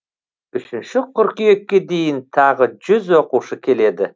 үшінші қыркүйекке дейін тағы жүз оқушы келеді